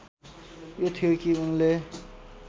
यो थियो कि उनले